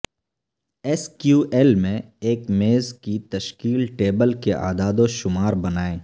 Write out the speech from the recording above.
S Q L میں ایک میز کی تشکیل ٹیبل کے اعداد و شمار بنائیں